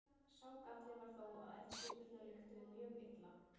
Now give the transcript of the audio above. Sá galli var þó að eldspýturnar lyktuðu mjög illa.